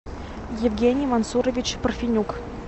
евгений мансурович парфенюк